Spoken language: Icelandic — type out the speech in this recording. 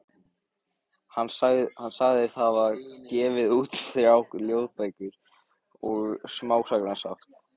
Hann sagðist hafa gefið út þrjár ljóðabækur og eitt smásagnasafn.